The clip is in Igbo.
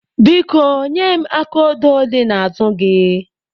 Biko, nye m aka odo dị n'azụ gị.